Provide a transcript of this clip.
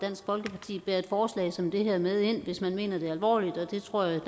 dansk folkeparti bærer et forslag som det her med ind hvis man mener det alvorligt og det tror jeg